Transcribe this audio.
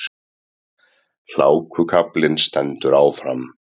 Hlákukaflinn stendur áfram